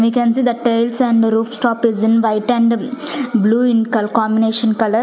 we can see the tiles and rooftop is in white and blue in cal combination colour.